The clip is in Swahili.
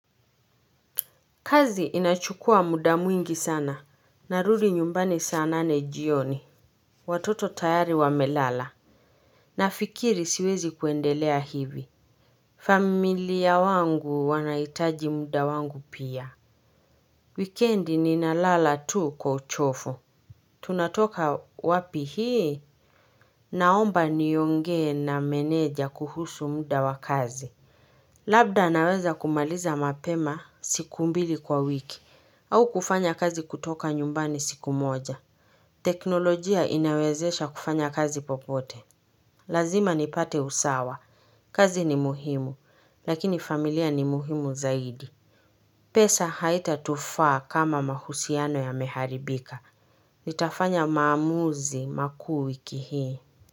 Kazi inayochukua muda mwingi sana. Narudi nyumbani saa nane jioni. Watoto tayari wamelala. Nafikiri siwezi kuendelea hivi. Familia wangu wanaitaji muda wangu pia. Wikendi ninalala tu kwa uchovu Tunatoka wapi hii naomba niongee na meneja kuhusu muda wa kazi. Labda naweza kumaliza mapema siku mbili kwa wiki. Au kufanya kazi kutoka nyumbani siku moja. Teknolojia inawezesha kufanya kazi popote. Lazima nipate usawa. Kazi ni muhimu, lakini familia ni muhimu zaidi. Pesa haitatufaa kama mahusiano yameharibika. Nitafanya maamuzi makuu wiki hii.